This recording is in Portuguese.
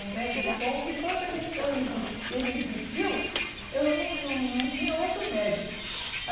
Um médico bom, porque quando a gente eu exis ele existiu, eu não não não tinha outro médico.